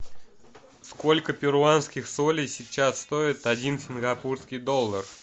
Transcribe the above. сколько перуанских солей сейчас стоит один сингапурский доллар